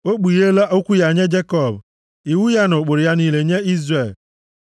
O kpugheela okwu ya nye Jekọb, iwu ya na ụkpụrụ ya niile nye Izrel.